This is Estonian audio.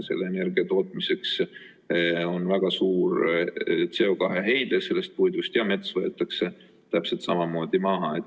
Selle energia tootmisel tekib väga suur CO2 heide sellest puidust ja mets võetakse täpselt samamoodi maha.